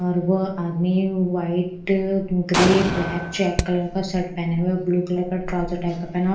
और वो आदमी white grey black check colour का शर्ट पहना हुआ ब्लू कलर का ट्राउजर--